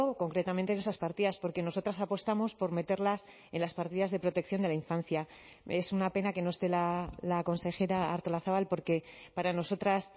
concretamente en esas partidas porque nosotras apostamos por meterlas en las partidas de protección de la infancia es una pena que no esté la consejera artolazabal porque para nosotras